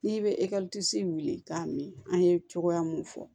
N'i bɛ ekɔli k'a min an ye cogoya mun fɔ